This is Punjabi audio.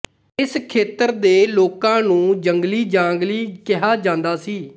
ਇਸ ਖੇਤਰ ਦੇ ਲੋਕਾਂ ਨੂੰ ਜੰਗਲੀਜਾਂਗਲੀ ਕਿਹਾ ਜਾਂਦਾ ਸੀ